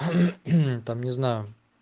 там не знаю